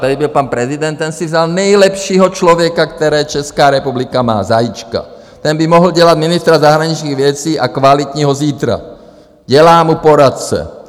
Tady byl pan prezident, ten si vzal nejlepšího člověka, kterého Česká republika má - Zajíčka, ten by mohl dělat ministra zahraničních věcí a kvalitního, zítra - dělá mu poradce.